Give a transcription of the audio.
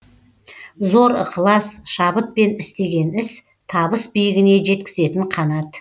зор ықылас шабытпен істеген іс табыс биігіне жеткізетін қанат